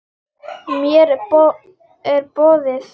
Mér er boðið.